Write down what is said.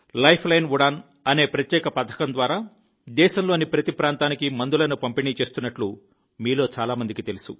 lifeline Udan అనే ప్రత్యేక పథకం ద్వారా దేశంలోని ప్రతి ప్రాంతానికి మందులను పంపిణీ చేస్తున్నట్టు మీలో చాలా మందికి తెలుసు